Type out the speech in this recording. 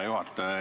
Hea juhataja!